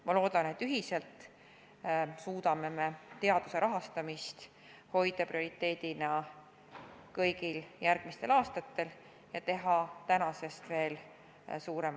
Ma loodan, et ühiselt me suudame teaduse rahastamise hoida prioriteedina kõigil järgmistel aastatel ja teha veel suuremaid samme kui seni.